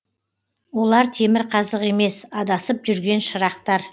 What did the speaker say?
олар темірқазық емес адасып жүрген шырақтар